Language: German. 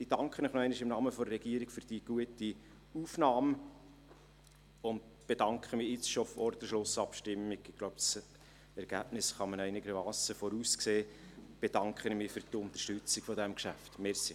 Ich danke Ihnen im Namen der Regierung noch einmal für die gute Aufnahme und bedanke mich schon jetzt, vor der Schlussabstimmung, für die Unterstützung dieses Geschäfts – ich glaube, das Ergebnis kann man einigermassen voraussehen.